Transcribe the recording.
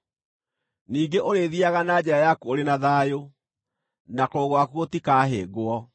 Ningĩ ũrĩthiiaga na njĩra yaku ũrĩ na thayũ, na kũgũrũ gwaku gũtikahĩngwo;